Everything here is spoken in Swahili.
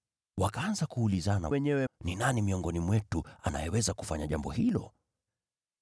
Wakaanza kuulizana wenyewe ni nani miongoni mwao angeweza kufanya jambo hilo.